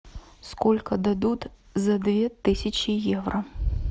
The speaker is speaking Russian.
сколько дадут за две тысячи евро